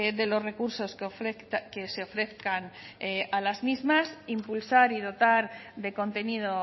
de los recursos que se ofrezcan a las mismas impulsar y dotar de contenido